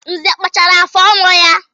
Nze kpachara afụ ọnụ ya.